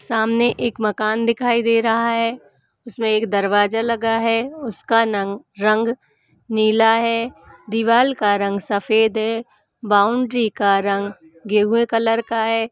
सामने एक मकान दिखाई दे रहा है। उसमें एक दरवाजा लगा है। उसका नंग रंग नीला है। दीवाल का रंग सफ़ेद है। बाउन्ड्री का रंग गेहुए कलर का है।